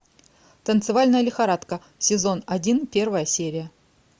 танцевальная лихорадка сезон один первая серия